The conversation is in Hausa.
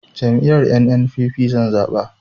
Jam'iyyar NNPP zan zaɓa